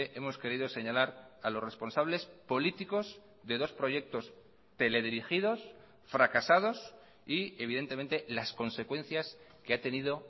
hemos querido señalar a los responsables políticos de dos proyectos teledirigidos fracasados y evidentemente las consecuencias que ha tenido